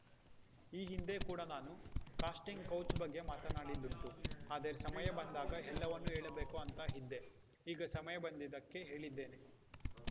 ಈ ಹಿಂದೆ ಕೂಡ ನಾನು ಕಾಸ್ಟಿಂಗ್‌ ಕೌಚ್‌ ಬಗ್ಗೆ ಮಾತನಾಡಿದ್ದುಂಟು ಆದರೆ ಸಮಯ ಬಂದಾಗ ಎಲ್ಲವನ್ನೂ ಹೇಳಬೇಕು ಅಂತ ಇದ್ದೆ ಈಗ ಸಮಯ ಬಂದಿದ್ದಕ್ಕೆ ಹೇಳಿದ್ದೇನೆ